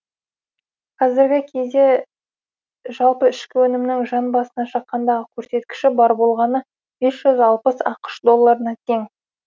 қазіргі кезде жалпы ішкі өнімнің жан басына шаққандағы көрсеткіші бар болғаны бес жүз алпыс ақш долларына тең